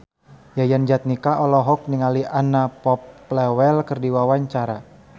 Yayan Jatnika olohok ningali Anna Popplewell keur diwawancara